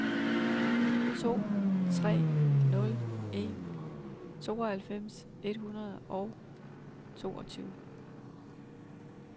to tre nul en tooghalvfems et hundrede og toogtyve